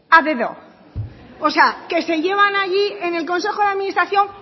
a dedo o sea que se llevan allí en el consejo de administración